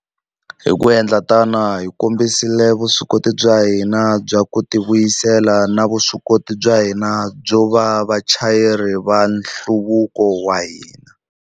Hi ku endla tano, hi kombisile vuswikoti bya hina bya ku tivuyisela na vuswikoti bya hina byo va vachayeri va nhluvuko wa hina.